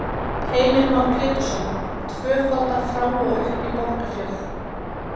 Heimir Már Pétursson: Tvöfalda frá og upp í Borgarfjörð?